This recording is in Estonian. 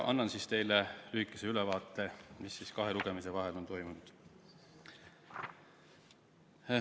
Annan teile lühikese ülevaate sellest, mis kahe lugemise vahel on toimunud.